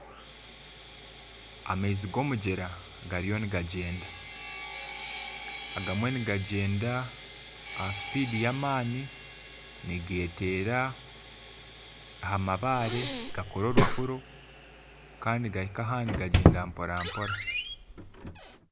Amaizi g'omugyera gariyo nigagyenda agamwe nigagyenda aha sipidi y'amaani nigeteera aha mabaare gakora orufuro kandi ahansi gagyenda mporampora